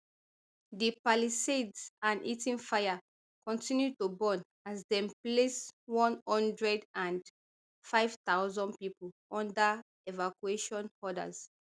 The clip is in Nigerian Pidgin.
di palisades and eaton fire continue to burn as dem place one hundred and five thousand pipo under evacuation orders